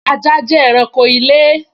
Ajá jẹ́ ẹranko ilé